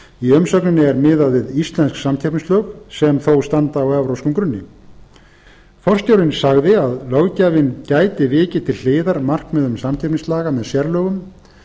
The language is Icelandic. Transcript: í umsögninni er miðað við íslensk samkeppnislög sem þó standa á evrópskum grunni forstjórinn sagði að löggjafinn gæti vikið til hliðar markmiðum samkeppnislaga með sérlögum